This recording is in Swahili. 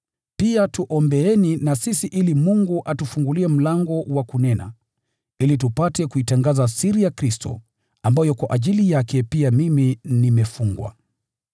Pia tuombeeni na sisi ili Mungu atufungulie mlango wa kunena, ili tupate kuitangaza siri ya Kristo, ambayo kwa ajili yake pia mimi nimefungwa.